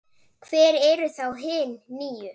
Hver eru þá hin níu?